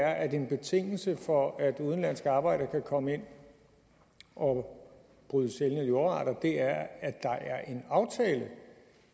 er at en betingelse for at udenlandske arbejdere kan komme ind og bryde sjældne jordarter er at en aftale